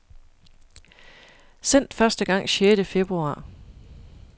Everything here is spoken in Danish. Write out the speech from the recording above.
Sendt første gang sjette februar.